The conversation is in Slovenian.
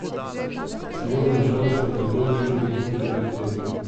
Seveda na žalost prevladujejo tudi globoki dekolteji.